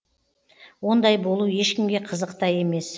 ондай болу ешкімге қызық та емес